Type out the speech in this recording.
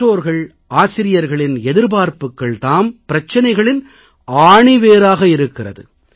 பெற்றோர்கள் ஆசிரியர்களின் எதிர்பார்ப்புகள் தாம் பிரச்சனைகளின் ஆணிவேராக இருக்கிறது